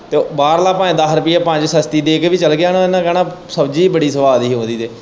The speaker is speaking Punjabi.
ਬਾਹਰਲਾ ਭਾਵੇਂ ਦੱਸ ਰੁਪਏ ਪੰਜ ਸਸਤੀ ਦੇ ਕੇ ਵੀ ਚੱਲ ਗਿਆ ਨਾ ਇਹਨਾਂ ਨੇ ਕਹਿਣਾ ਸ਼ਬਜੀ ਹੀ ਬੜੀ ਸਵਾਦ ਹੀ ਉਹਦੀ ਤੇ।